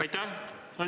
Aitäh!